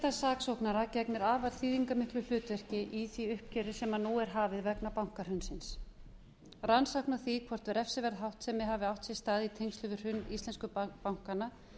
sérstaks saksóknara gegnir afar þýðingarmiklu hlutverki í því uppgjöri vegna bankahrunsins rannsókn á því hvort refsiverð háttsemi hafi átt sér stað í tengslum við hrun íslensku bankanna